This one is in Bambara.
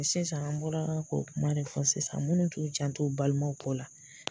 Sisan an bɔra ko kuma de fɔ sisan minnu t'u janto o balimaw kɔ la.